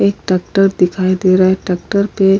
एक ट्रेक्टर दिखाई दे रहा है। ट्रेक्टर पे --